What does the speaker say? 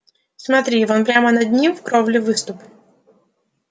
смотри вон прямо над ними в кровле выступ